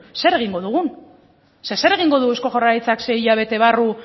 zer egingo dugun zeren zer egingo du eusko jaurlaritzak sei hilabete barru